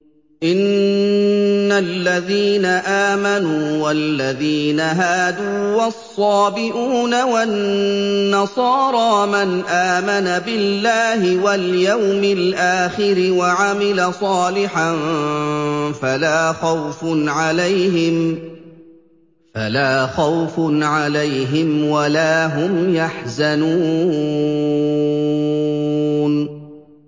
إِنَّ الَّذِينَ آمَنُوا وَالَّذِينَ هَادُوا وَالصَّابِئُونَ وَالنَّصَارَىٰ مَنْ آمَنَ بِاللَّهِ وَالْيَوْمِ الْآخِرِ وَعَمِلَ صَالِحًا فَلَا خَوْفٌ عَلَيْهِمْ وَلَا هُمْ يَحْزَنُونَ